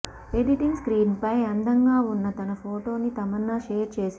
editing screen పై అందంగా ఉన్న తన ఫోటోని తమన్నా షేర్ చేసింది